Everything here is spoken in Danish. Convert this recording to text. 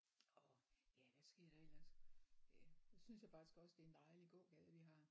Og ja hvad sker der ellers ja så synes jeg faktisk også det er en dejlig gågade vi har